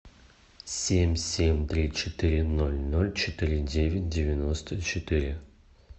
семь семь три четыре ноль ноль четыре девять девяносто четыре